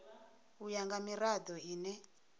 u ya nga mirado ine